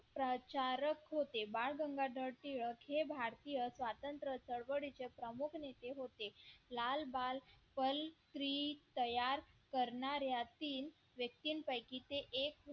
प्रचारक होते बाळ गंगाधर टिळक हे भारतीय स्वातंत्र्य चळवळीचे प्रमुख नेते होते लाल बाल तयार करणाऱ्या ची व्यक्तींपैकी ते एक